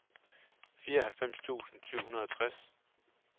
fireoghalvfems tusind syv hundrede og tres